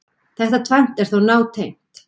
Þetta tvennt er þó nátengt.